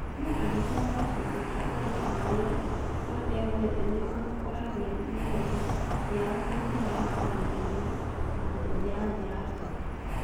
No angĩkorwo gĩcunjĩ kĩa arutani arĩa matehotete nĩ makũragia mĩario yao na njĩra ya kũnyitanĩra na kũhũthĩra njĩra njega.